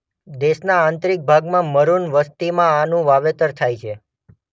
દેશના આંતરિક ભાગમાં મરૂન વસ્તીમાં આનું વાવેતર થાય છે.